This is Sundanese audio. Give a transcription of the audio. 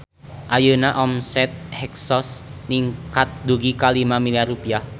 Ayeuna omset Hexos ningkat dugi ka 5 miliar rupiah